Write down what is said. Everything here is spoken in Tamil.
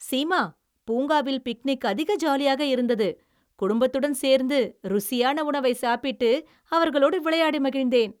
சீமா, பூங்காவில் பிக்னிக் அதிக ஜாலியாக இருந்தது. குடும்பத்துடன் சேர்ந்து ருசியான உணவை சாப்பிட்டு அவர்களோடு விளையாடி மகிழ்ந்தேன்.